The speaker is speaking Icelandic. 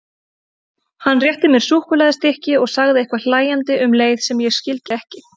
Hann rétti mér súkkulaðistykki og sagði eitthvað hlæjandi um leið sem ég skildi ekki.